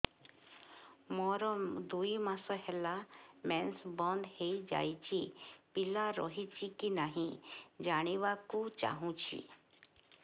ମୋର ଦୁଇ ମାସ ହେଲା ମେନ୍ସ ବନ୍ଦ ହେଇ ଯାଇଛି ପିଲା ରହିଛି କି ନାହିଁ ଜାଣିବା କୁ ଚାହୁଁଛି